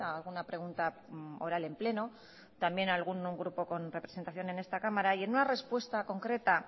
alguna pregunta oral en pleno también algún grupo con representación en esta cámara y en una respuesta concreta